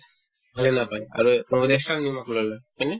হয়নে নাপাই আৰু কিছুমানে কেচা নিমখ লৈ লই হয়নে